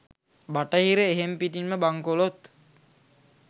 බටහිර එහෙම්පිටින්ම බංකොලොත්.